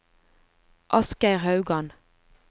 Asgeir Haugan